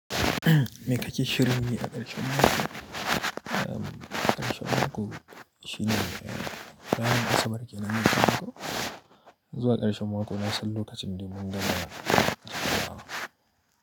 Me kake shirin yi a ƙarshen mako? Ƙarshen mako shine ranar Asabar kenan mako. Zuwa ƙarshen mako na san lokacin da mun gama--